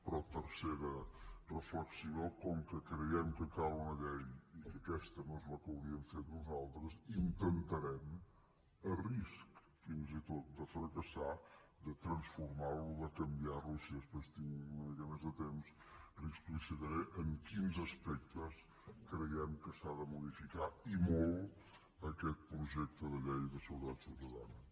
però tercera reflexió com que creiem que cal una llei i que aquesta no és la que hauríem fet nosaltres intentarem a risc fins i tot de fracassar de transformar lo de canviar lo i si després tinc una mica més de temps li explicitaré en quins aspectes creiem que s’ha de modificar i molt aquest projecte de llei de seguretat ciutadana